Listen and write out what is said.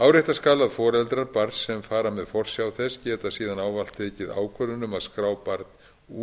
árétta skal að foreldrar barns sem fara með forsjá þess geta síðan ávallt tekið ákvörðun um að skrá barn